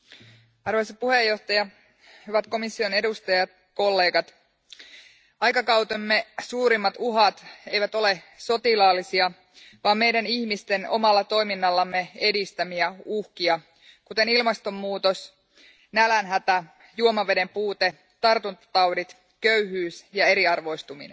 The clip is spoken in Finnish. Arvoisa puhemies, hyvät komission edustajat, kollegat, aikakautemme suurimmat uhat eivät ole sotilaallisia, vaan meidän ihmisten omalla toiminnallamme edistämiä uhkia, kuten ilmastonmuutos, nälänhätä, juomaveden puute, tartuntataudit, köyhyys ja eriarvoistuminen.